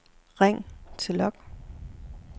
ring til log